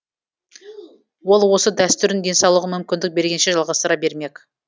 ол осы дәстүрін денсаулығы мүмкіндік бергенше жалғастыра бермек